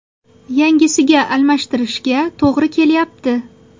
Yangisiga almashtirishga to‘g‘ri kelyapti.